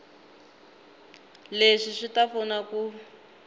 leswi swi ta pfuna ku